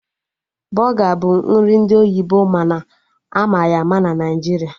Bọga bụ nri ndị oyibo mana ama ya ama na Naijiria